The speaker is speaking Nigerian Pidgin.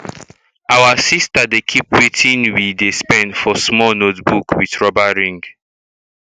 our sister dey keep wetin we um spend for small notebook with rubber ring um